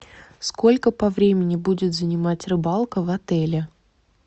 сколько по времени будет занимать рыбалка в отеле